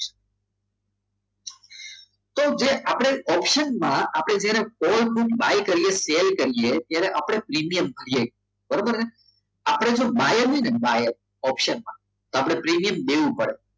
તો જે આપણે હવે ઓપ્શનમાં આપણે જેને buy કરીએ buy sell કરીએ ત્યારે આપણે પ્રીમિયમ કરીએ છીએ બરાબર છે આપણે જો buy હોય ને ઓપ્શનમાં તો આપણે પ્રીમિયમ દેવું પડે